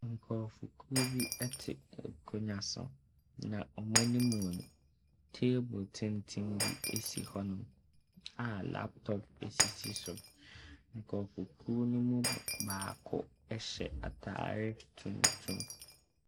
Nkurɔfokuo bi te akonnwa so. Na wɔn anim no, table tenten bi si hɔnom, a laptop sisi so. Nkurɔfokuo no mu baako hyɛ atadeɛ tuntum.